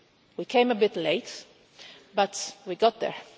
We came a bit late, but we got there.